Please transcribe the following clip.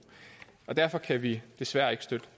derfor kan vi desværre ikke støtte